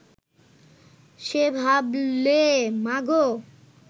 সে ভাবলে, মাগো